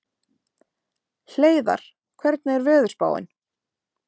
Hleiðar, hvernig er veðurspáin?